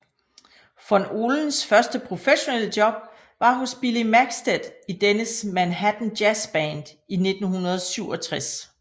Von Ohlens første professionelle job var hos Billy Maxted i dennes Manhattan Jazzband i 1967